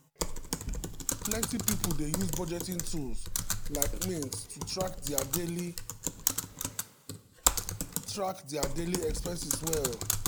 plenty people dey use budgeting tools like mint to track dia daily track dia daily expenses well.